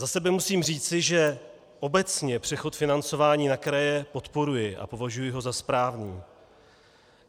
Za sebe musím říci, že obecně přechod financování na kraje podporuji a považuji ho za správný.